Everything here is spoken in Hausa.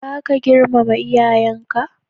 Baka girmama iyayenka?